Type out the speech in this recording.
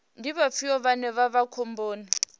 ndi vhafhio vhane vha vha khomboni